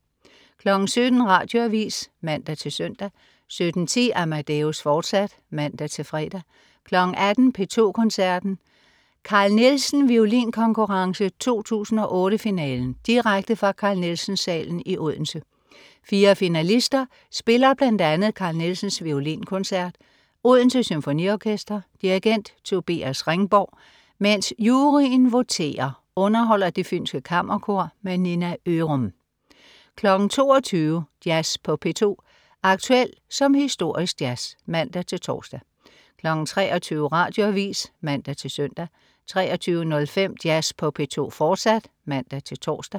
17.00 Radioavis (man-søn) 17.10 Amadeus, fortsat (man-fre) 18.00 P2 Koncerten. Carl Nielsen Violinkonkurrence 2008 finalen, direkte fra Carl Nielsen Salen i Odense. Fire finalister spiller bl.a. Carl Nielsens Violinkoncert. Odense Symfoniorkester. Dirigent: Tobias Ringborg. Mens juryen voterer, underholder Det Fynske Kammerkor. Nina Ørum 22.00 Jazz på P2. Aktuel som historisk jazz (man-tors) 23.00 Radioavis (man-søn) 23.05 Jazz på P2, fortsat (man-tors)